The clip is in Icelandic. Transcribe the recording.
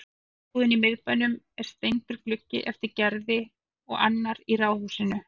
Í lyfjabúðinni í miðbænum er steindur gluggi eftir Gerði og annar í ráðhúsinu.